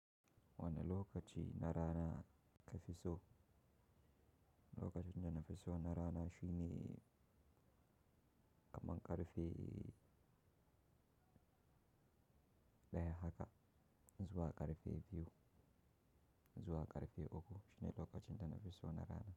Wani lokaci na rana ka fi so, lokacin da na fi so na rana shine ƙaman ƙarfe daya haka, zuwa ƙarfe biyu, zuwa ƙarfe uku shine lokacin da na fi so na rana.